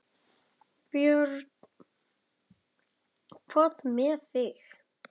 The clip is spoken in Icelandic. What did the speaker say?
Björn: Hvað með þig?